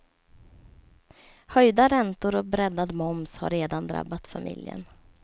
Höjda räntor och breddad moms har redan drabbat familjen.